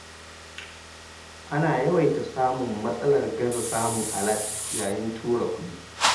Ana yawaita samun matsalar gaza samun alat yayin tura kuɗi.